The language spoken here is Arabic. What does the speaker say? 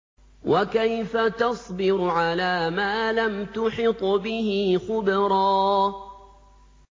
وَكَيْفَ تَصْبِرُ عَلَىٰ مَا لَمْ تُحِطْ بِهِ خُبْرًا